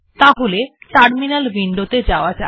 তাহলে terminal window ত়ে যাওয়া যাক